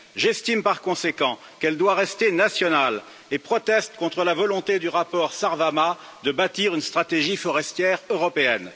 J'estime par conséquent qu'elle doit rester nationale et proteste contre la volonté du rapport Sarvamaa de bâtir une stratégie forestière européenne.